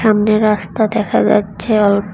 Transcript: সামনে রাস্তা দেখা যাচ্ছে অল--